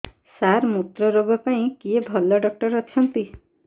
ସାର ମୁତ୍ରରୋଗ ପାଇଁ କିଏ ଭଲ ଡକ୍ଟର ଅଛନ୍ତି